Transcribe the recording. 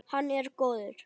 Hann er góður.